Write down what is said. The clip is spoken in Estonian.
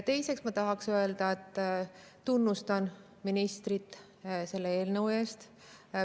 Teiseks tahaks öelda, et tunnustan ministrit selle eelnõu eest.